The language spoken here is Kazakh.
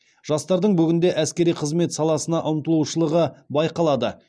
жастардың бүгінде әскери қызмет саласына ұмтылушылығы байқалады